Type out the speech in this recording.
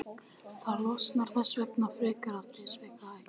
Þær losna þess vegna frekar af disknum eða hnífapörunum.